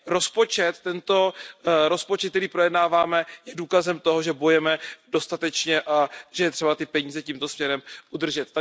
Rozpočet, který projednáváme, je důkazem toho, že bojujeme dostatečně, že je třeba ty peníze tímto směrem udržet.